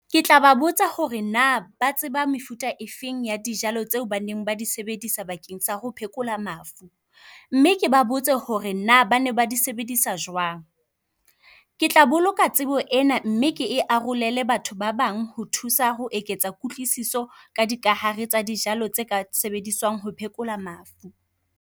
Ke tla ba botsa hore na ba tseba mefuta e feng ea dijalo tseo baneng ba di sebedisa bakeng sa ho phekola mafu. Mme ke ba botse hore na bana ba di sebedisa jwang. Ke tla boloka tsebo ena mme ke e arolele batho ba bang. Ho thusa ho eketsa kutlwisiso ka dikahare tsa dijalo tse ka sebediswang ho phekola mafu.